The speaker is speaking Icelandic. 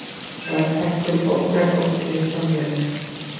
Verðhækkun ógnar ódýrri framleiðslu